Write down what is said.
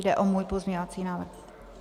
Jde o můj pozměňovací návrh.